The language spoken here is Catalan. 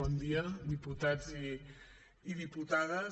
bon dia diputats i diputades